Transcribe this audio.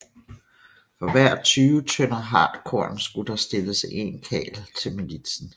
For hver tyve tønder hartkorn skulle der stilles en karl til militsen